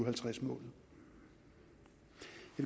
halvtreds målet